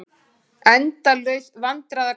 Endalaus vandræðagangur.